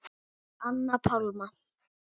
Anna Pálma.